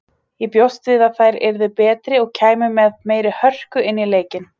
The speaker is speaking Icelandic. Ég bjóst við að þær yrðu betri og kæmu með meiri hörku inn í leikinn.